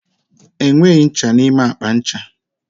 Enweghị ncha n'ime akpa ncha.